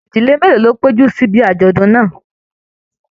Ìdílé mélòó ló péjú sí ìbi ajọdun náà?